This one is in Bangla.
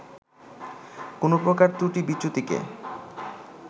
কোনো প্রকার ত্রুটি-বিচ্যুতিকে